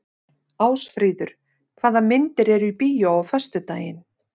Ásfríður, hvaða myndir eru í bíó á föstudaginn?